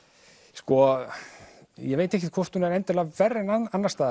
sko ég veit ekkert hvort hún er endilega verri en annars staðar